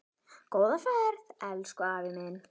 Góða ferð, elsku afi minn.